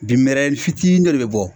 Bin mɛrɛnin fitinin do de bɛ bɔ.